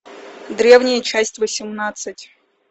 древние часть восемнадцать